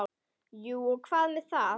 Jú og hvað með það!